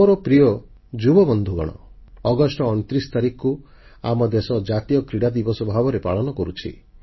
ମୋର ପ୍ରିୟ ଯୁବବନ୍ଧୁଗଣ ଅଗଷ୍ଟ 29 ତାରିଖକୁ ଆମ ଦେଶ ଜାତୀୟ କ୍ରୀଡ଼ା ଦିବସ ଭାବେ ପାଳନ କରୁଛି